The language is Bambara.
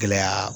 Gɛlɛya